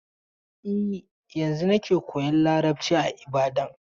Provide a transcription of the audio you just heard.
E, yanzun ne yake koyan Yarbanci a Ibadan.